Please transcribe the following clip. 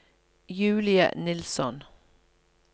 Julie Nilsson